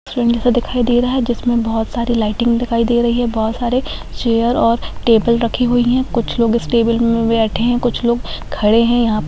train जैसा दिखाई दे रहा है जिसमे बहुत सारी लाइटिंग दिखाई दे रही है बहुत सारे चेयर और टेबल रखे हुए है कुछ लोग इस टेबल में बैठे है कुछ लोग खड़े है यहां --